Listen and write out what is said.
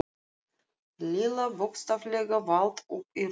Lilla bókstaflega valt upp í rúmið.